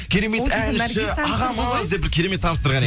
керемет әнші ағамыз деп бір керемет таныстырған едің